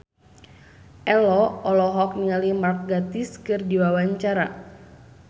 Ello olohok ningali Mark Gatiss keur diwawancara